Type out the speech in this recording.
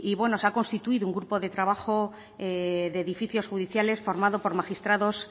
se ha constituido un grupo de trabajo de edificios judiciales formado por magistrados